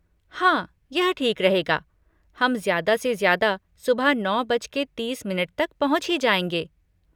हाँ, यह ठीक रहेगा, हम ज्यादा से ज्यादा सुबह नौ बजके तीस मिनट तक पहुँच ही जाएंगे।